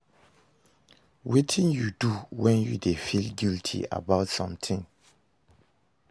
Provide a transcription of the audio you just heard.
Wetin you dey do when you dey feel guilty about something?